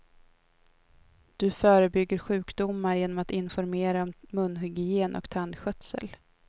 Du förebygger sjukdomar genom att informera om munhygien och tandskötsel.